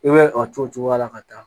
I bɛ a to o cogoya la ka taa